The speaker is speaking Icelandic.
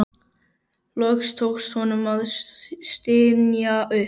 Loks tókst honum að stynja upp